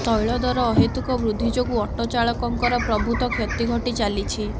ତୈଳଦର ଅହେତୁକ ବୃଦ୍ଧି ଯୋଗୁଁ ଅଟୋ ଚାଳଙ୍କର ପ୍ରଭୁତ କ୍ଷତି ଘଟି ଚାଲିଛି